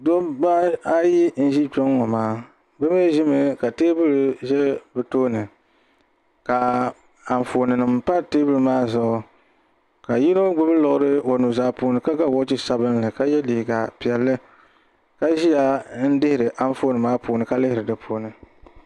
Dabba ayi n zi kpɛŋɔ ŋɔ maa bi mi zi mi ka tɛɛbuli bi tooni ka anfaani nima pa tɛɛbuli maa zuɣu ka yino gbibi liɣiri o nuu zaa puuni ka ga wɔchi sabinli ka yiɛ liiga piɛlli ka ziya n dihiri anfaani maa puuni ka lihiri di puuni.